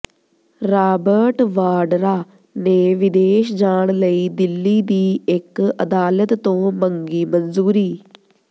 Robert Vadra ਨੇ ਵਿਦੇਸ਼ ਜਾਣ ਲਈ ਦਿੱਲੀ ਦੀ ਇਕ ਅਦਾਲਤ ਤੋਂ ਮੰਗੀ ਮਨਜ਼ੂਰੀ